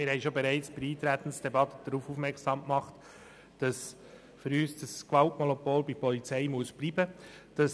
Wir haben bereits bei der Eintretensdebatte darauf aufmerksam gemacht, dass das Gewaltmonopol unserer Meinung nach bei der Polizei bleiben muss.